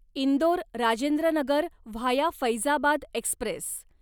Indore Rajendra Nagar via Faizabad Express